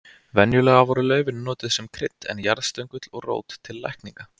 Venjulega voru laufin notuð sem krydd en jarðstöngull og rót til lækninga.